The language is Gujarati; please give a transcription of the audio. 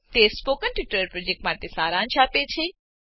તે સ્પોકન ટ્યુટોરીયલ પ્રોજેક્ટનો સારાંશ આપે છે